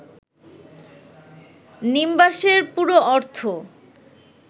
নিম্বাসের পুরো অর্থ